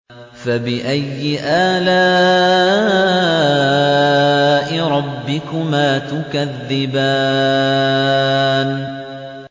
فَبِأَيِّ آلَاءِ رَبِّكُمَا تُكَذِّبَانِ